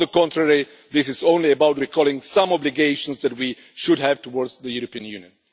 On the contrary, this is only about recalling some obligations that we should have towards the European Union.